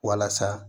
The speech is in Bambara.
Walasa